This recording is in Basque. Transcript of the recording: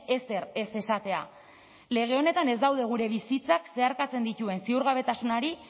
ezer ez esatea lege honetan ez daude gure bizitzak zeharkatzen dituen ziurgabetasunari